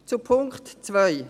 Zum Punkt 2: